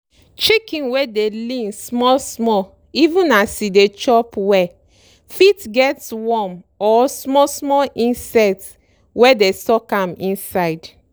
chicken wey dey lean small small even as e dey chop well fit get worm or small small insect wey dey suck am inside.